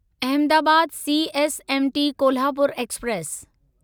Ahmedabad CSMT Kolhapur express